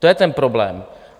To je ten problém.